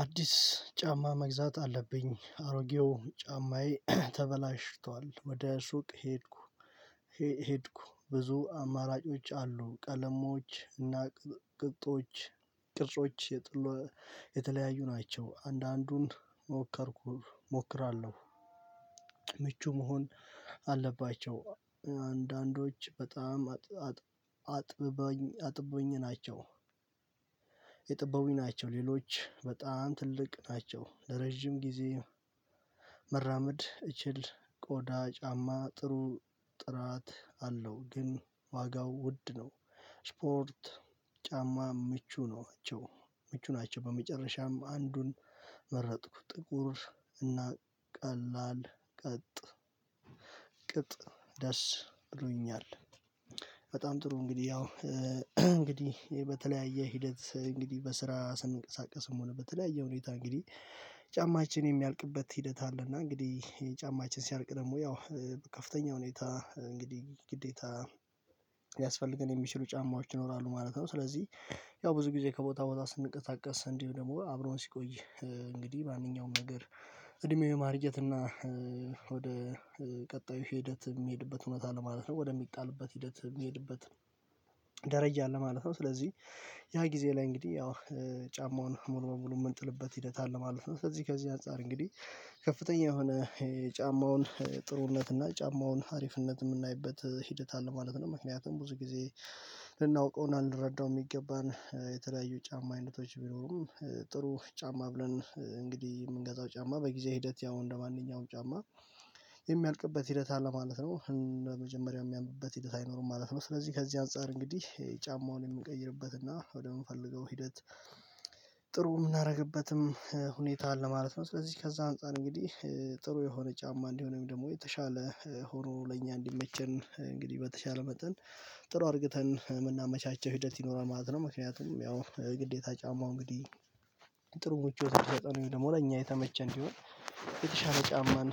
አዲስ ጫማ መግዛት አለብኝ አሮጌው ጫማዬ ተበላሽቷል ወደ ሱቅ ሄድኩ። ሄድኩ ብዙ አማራጮች አሉ ቀለሞች እና ቅጥቆች ቅርጾች ቅርጾች የተለያዩ ናቸው። አንዳንዱን ሞከርኩ እሞክራለሁ። ምቹ መሆን አለባቸው አንዳንዶች በጣም አጥበኝ አጥበኝ ናቸው። የጥበዊ ናቸው ሌሎች በጣም ትልቅ ናቸው ለረጅም ጊዜ መራመድ እችል። ቆዳ ጫማ ጥሩ ጥራት አለው ግን ዋጋው ውድ ነው። ስፖርት ጫማ ምቹ ነው ናቸው ምቹ ናቸው። በመጨረሻም አንዱን መረጥኩ ጥቁር እና ቀላል ቀጥ ቅጥ ደስ ብሎኛል። በጣም ጥሩ እንግዲህ ያው እንግዲህ ይሄ በተለያየ ሂደት እንግዲህ በስራ ስንቀሳቀስም ሆነ በተለያየ ሁኔታ እንግዲህ ጫማችን የሚያልቅበት ሂደት አለና እንግዲህ የጫማችን ሲያርቅ ደግሞ ያው ከፍተኛ ሁኔታ እንግዲህ ግዴታ ያስፈልገን የሚችሉ ጫማዎች ይኖራሉ ማለት ነው። ስለዚህ ያው ብዙ ጊዜ ከቦታ ቦታ ስንቀሳቀስ እንዲሁ ደግሞ አብሮን ሲቆይ እንግዲህ ማንኛውም ነገር እድሜው የማርጀት እና ወደ ቀጣዩ ሂደት የሚሄድበት ሆነታ አለ ማለት ነው። ወደሚጣልበት ሂደት የሚሄድበት ደረጃ አለ ማለት ነው። ስለዚህ ያ ጊዜ ላይ እንግዲህ ያው ጫማውን ሙሉ መሙሉ የምንጥልበት ሂደት አለ ማለት ነው። ስለዚህ ከዚህ አንፃር እንግዲህ ከፍተኛ የሆነ የጫማውን ጥሩነት እና የጫማውን አሪፍነት የምናይበት ሂደት አለ ማለት ነው። ምክንያቱም ብዙ ጊዜ ልረዳው የሚገባን የተለያዩ ጫማ አይነቶች ቢኖሩም ጥሩ ጫማ ብለን እንግዲህ የምንገዛው ጫማ በጊዜ ሂደት ያው እንደማንኛውም ጫማ የሚያልቅበት ሂደት አለ ማለት ነው። መጀመሪያው የሚያምኑበት ሂደት አይኖርም ማለት ነው። ስለዚህ ከዚህ አንፃር እንግዲህ ጫማውን የምንቀይርበትና ወደምንፈልገው ሂደት ጥሩ የምናደርግበትም ሁኔታ አለ ማለት ነው። ስለዚህ ከዛ አንፃር እንግዲህ ጥሩ የሆነ ጫማ እንዲሆነው ደግሞ የተሻለ ሆኖ ለእኛ እንዲመቸን እንግዲህ በተሻለ መጠን ጥሩ አድርግተን የምናመቻቸው ሂደት ይኖራል ማለት ነው። ምክንያቱም ያው ግዴታ ጫማው እንግዲህ ጥሩ ምቾት የምሰጠን ወይም ደግሞ ለእኛ የተመቸ እንዲሆን የተሻለ ጫማን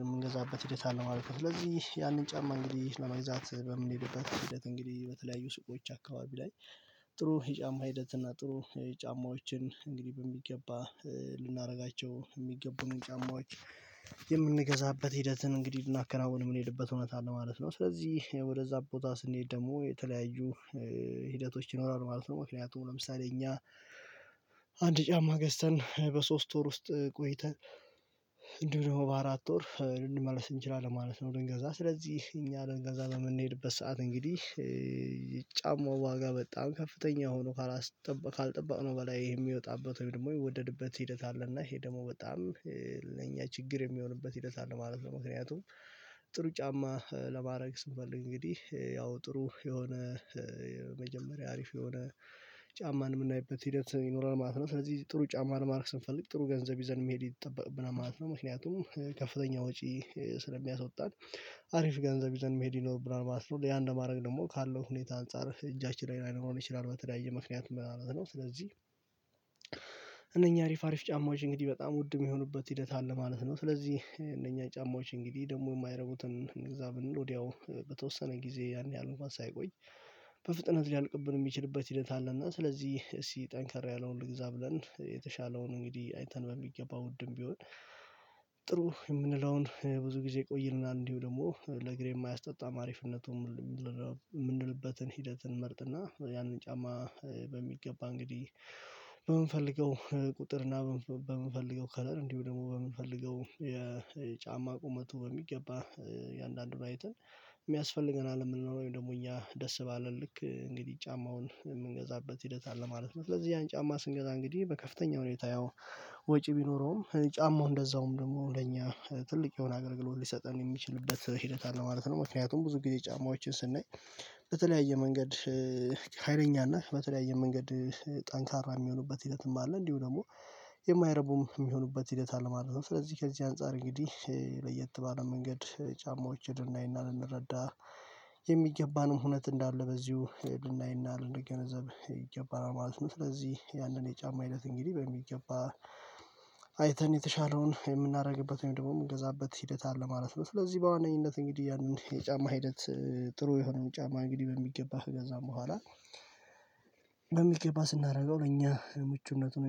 የምንገዛበት ሂደት አለማለት ነው። ስለዚህ ያንን ጫማ እንግዲህ ለመግዛት በምንሄድበት ሂደት በተለያዩ ሱቆች አካባቢ ላይ ጥሩ የጫማ ሂደት እና ጥሩ ጫማዎችን እንግዲህ በሚገባ ልናደርጋቸው የሚገቡንን ጫማዎች የምንገዛበት ሂደትን እንግዲህ ልናከናውን የምንሄድበት እውነት አለ ማለት ነው። ስለዚህ ወደዛ ቦታ ስንሄድ ደግሞ የተለያዩ ሂደቶች ይኖራሉ ማለት ነው። ምክንያቱም ለምሳሌ እኛ አንድ ጫማ ገዝተን በሶስት ወር ውስጥ ቆይተን እንዲህም ደግሞ በአራት ወር ልንመልስ እንችላለን ማለት ነው። ልንገዛ ስለዚህ እኛ ልንገንዛ በምንሄድበት ሰዓት እንግዲህ ጫማው ዋጋ በጣም ከፍተኛ ሆኖ ካልጠበቅነው በላይ ይሄ የሚወጣበት ወይም ደግሞ የወደድበት ሂደት አለ እና ይሄ ደግሞ በጣም ለኛ ችግር የሚሆንበት ሂደት አለ ማለት ነው። ምክንያቱም ጥሩ ጫማ ለማድረግ ስንፈልግ እንግዲህ ያው ጥሩ የሆነ የመጀመሪያ አሪፍ የሆነ ጫማን የምናይበት ሂደት ይኖራል ማለት ነው። ስለዚህ ጥሩ ጫማ ለማድረግ ስንፈልግ ጥሩ ገንዘብ ይዘን መሄድ ይጠበቅብናል ማለት ነው። ምክንያቱም ከፍተኛ ወጪ ስለሚያስወጣን አሪፍ ገንዘብ ይዘን መሄድ ይኖርብናል ማለት ነው። ያን ለማድረግ ደግሞ ካለው ሁኔታ አንፃር እጃችን ላይ ላይኖረን ይችላል በተለያየ ምክንያት ምናምን ነው። ስለዚህ እነኚህ አሪፍ አሪፍ ጫማዎች እንግዲህ በጣም ውድ የሚሆኑበት ሂደት አለ ማለት ነው። ስለዚህ እነኛ ጫማዎች እንግዲህ ደግሞ የማይረቡትን እንግዛ ብንል ወዲያው በተወሰነ ጊዜ አንድ ያህል ማሳ አይቆይ በፍጥነት ሊያልቅብን የሚችልበት ሂደት አለና ስለዚህ እስኪ ጠንከር ያለውን እግዛ ብለን የተሻለውን እንግዲህ አይተን በሚገባው ውድም ቢሆን ጥሩ የምንለውን ብዙ ጊዜ ይቆይልናል። እንዲሁም ደግሞ ለእግሬም የማያስጠጣም አሪፍነቱን የምንልበትን ሂደትን መርጥና ያንን ጫማ በሚገባ እንግዲህ በምንፈልገው ቁጥር እና በምንፈልገው ከለር እንዲሁ ደግሞ በምንፈልገው የጫማ ቁመቱ በሚገባ የአንዳንዱን አይተን የሚያስፈልገናል ወይም ደግሞ እኛ ደስ ባለን ልክ እንግዲህ ጫማውን የምንገዛበት ሂደት አለ ማለት ነው። ስለዚህ ያን ጫማ ስንገዛ እንግዲህ በከፍተኛ ሁኔታ ያው ወጪ ቢኖረውም ጫማው እንደዛውም ደግሞ ለኛ ትልቅ የሆነ አገልግሎት ሊሰጠን የሚችልበት ሂደት አለ ማለት ነው። ምክንያቱም ብዙ ጊዜ ጫማዎችን ስናይ በተለያየ መንገድ ሀይለኛ ነህ በተለያየ መንገድ ጠንካራ የሚሆኑበት ሂደትም አለ እንዲሁ ደግሞ የማይረቡም የሚሆኑበት ሂደት አለ ማለት ነው። ስለዚህ ከዚህ አንፃር እንግዲህ ለየት ባለ መንገድ ጫማዎችን ልናይና ልንረዳ የሚገባንም ሁኔታ እንዳለ በዚሁ የድናይና ይናር እንደገነዘብ ይገባናል ማለት ነው። ስለዚህ ያንን የጫማ አይነት እንግዲህ በሚገባ አይተን የተሻለውን የምናደርግበት ወይም ደግሞ የምንገዛበት ሂደት አለ ማለት ነው። ስለዚህ በዋነኝነት እንግዲህ ያንን የጫማ ሂደት ጥሩ የሆነውን ጫማ እንግዲህ በሚገባህ ከገዛን በኋላ በሚቀባ ስናደርገው ለእኛ ምቹነቱን